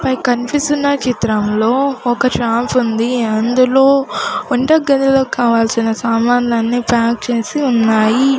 పై కన్పిస్తున్న చిత్రంలో ఒక షాపుంది అందులో వంటగదిలో కావాల్సిన సామాన్లన్నీ ప్యాక్ చేసి ఉన్నాయి.